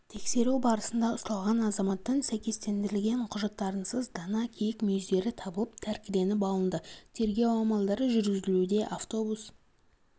тексеру барысында ұсталған азаматтан сәйкестендірілген құжаттарынсыз дана киік мүйіздері табылып тәркіленіп алынды тергеу амалдары жүргізілуде автобус